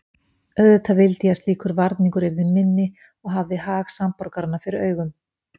Auðvitað vildi ég að slíkur varningur yrði minni og hafði hag samborgaranna fyrir augum.